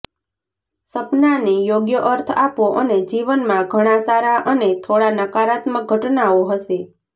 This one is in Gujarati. સપનાને યોગ્ય અર્થ આપો અને જીવનમાં ઘણા સારા અને થોડા નકારાત્મક ઘટનાઓ હશે